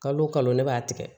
Kalo kalo ne b'a tigɛ